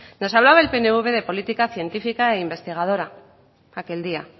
nos hablaba el pnv de política científica e investigadora aquel día